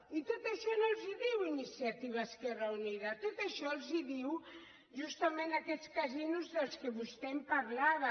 i tot això no els ho diu iniciativa esquerra unida tot això els ho diuen justament aquests casinos de què vostè em parlava